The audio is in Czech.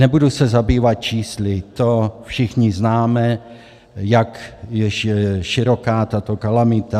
Nebudu se zabývat čísly, to všichni známe, jak široká je tato kalamita.